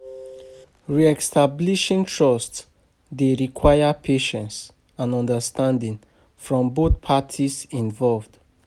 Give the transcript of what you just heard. Re-establishing trust dey require patience and understanding from both parties involved.